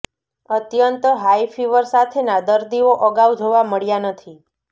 અત્યંત high fever સાથેના દરદીઓ અગાઉ જોવા મળ્યા નથી